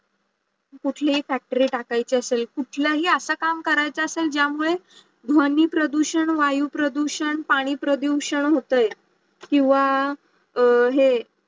कुठलीही Factory नाकायची असेल, कुठलीही असा काम आरायचा असलं ज्या मुडे धावणी प्रदूषण, वायू प्रदूषण, पाणी प्रदूषण होतोय किव्वा हे